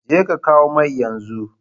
Jeka kawo mai yanzu!